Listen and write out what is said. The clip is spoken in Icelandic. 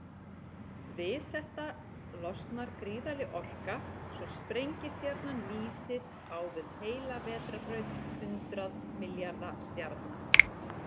Við þetta losnar gríðarleg orka, svo sprengistjarnan lýsir á við heila vetrarbraut hundrað milljarða stjarna.